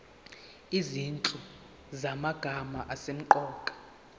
izinhlu zamagama asemqoka